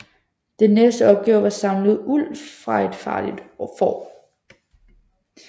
Den næste opgave var at samle uld fra et farligt får